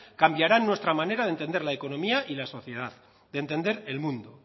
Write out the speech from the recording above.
cambiarán nuestra manera de entender la economía y la sociedad de entender el mundo